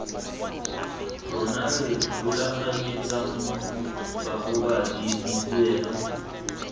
rona re rulaganyetsang bagobadi dituelo